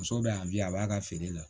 Muso bɛ yan bi a b'a ka feere la